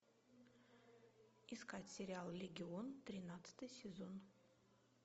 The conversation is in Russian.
искать сериал легион тринадцатый сезон